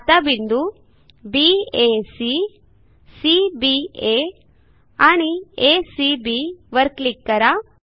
आता बिंदू baसी cbआ आणि acबी वर क्लिक करा